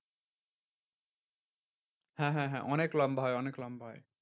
হ্যাঁ হ্যাঁ হ্যাঁ অনেক লম্বা হয় অনেক লম্বা হয়।